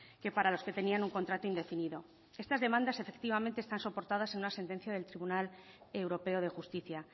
que para los que tenían un contrato indefinido estas demandas efectivamente están soportadas en una sentencia del tribunal europeo de justicia